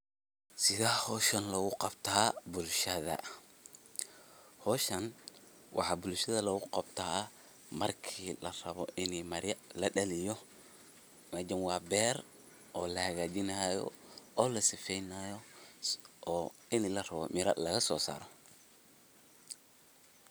Sethee hooshan lagu Qabtah bulshada, hooshan waxa bulshada lagu Qabtah marki laraboh ini ladaliyoh meshan wa beer oo la hakajeenahayoo oo la sifeeynayo oo ini laraboh ini